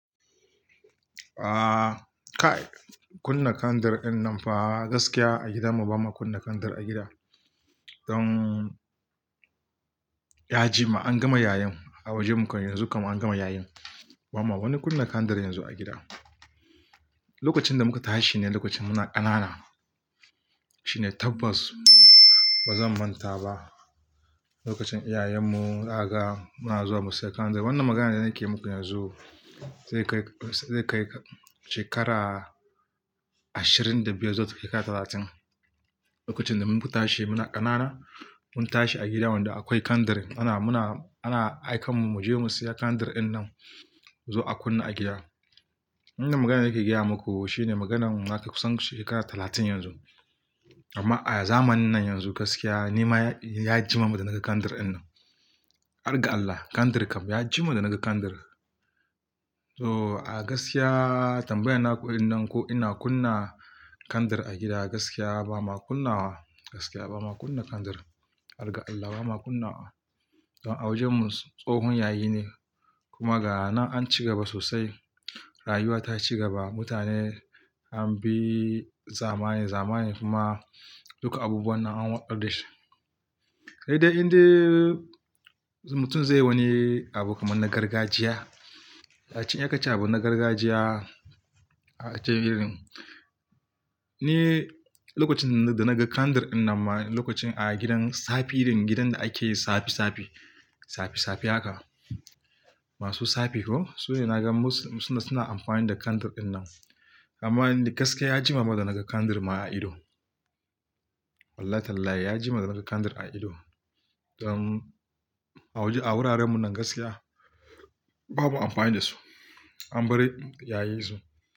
Aaa, kai kunna kandar in nan fa gaskiya a gida mu bama kunna kandar a gida. Don ya jima an gama yayen. A wajen kam mu yanzu kam an gama yayin. Bama wani kunna kandar yanzu a gida. Lokacin da muka tashi ne lokacin muna ƙanana. Shine tabbas bazan manta ba. Lokacin iyayen mu Zakaga muna zuwa mu siya kandar. Wannan magana da nake muku yanzu zai kai, zai kai shekara ashirin da biyar zuwa takai ka talatin. Lokacin da mun fita shi muna ƙanana mun tashi a gida wanda akwai kandir ana, muna ana aikan mu mu je mu siya kandir in nan zo a kunna a gida. Wannan magana nake gaya maku shine maganan ya kai kusan shekara talatin yanzu. Amma a zamanin nan yanzu gaskiya ni ma ya jima da naga kandir din nan. Har ga allah kandir kam ya jima da naga kandir. So a gaskiya tambayan naku din nan ko ina kunna kandir a gida gaskiya bama kunna wa gaskiya bama kunna kandir. Har ga allah bama kunna wa. Don a wajen mu tsohon yayi ne kuma ga nan an ci gaba sosai rayuwa ta ci gaba mutane an bi zamani zamani kuma duka abubuwan nan an watsar da shi. He dai indai mutum zai wani abu kaman na gargajiya. A cce in akace abu na gargajiya a cikin irin. Ni lokacin da naga kandar in nan ma lokacin a gidan safi irin gidan da ake yi safi safi, safi safi haka. Masu safi ko su ne naga musu suna, suna amfani da kandir din nan. Amma gaskiya ya jima da naga kandrr ma a ido. Wallahi Tallahi ya jima da naga kandir a ido. Don a waje a wuraren mu nan gaskiya babu amfani da su an bari yayin su.